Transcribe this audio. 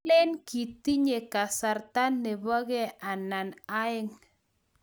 Alen kitinye kasarta nebo kee anan aeng'